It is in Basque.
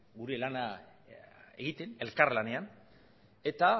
gure lana egiten elkarlanean eta